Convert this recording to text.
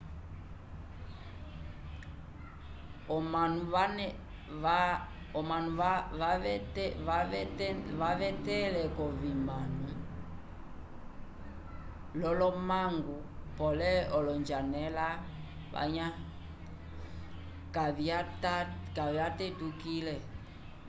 omanu vavetele k'ovimano l'olomangu pole olonjanela kavyatetukile